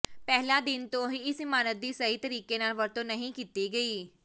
ਪਹਿਲੇ ਦਿਨ ਤੋਂ ਹੀ ਇਸ ਇਮਾਰਤ ਦੀ ਸਹੀ ਤਰੀਕੇ ਨਾਲ ਵਰਤੋਂ ਨਹੀਂ ਕੀਤੀ ਗਈ